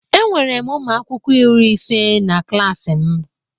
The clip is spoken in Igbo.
Enwere m ụmụ akwụkwọ iri ise na klaasị m.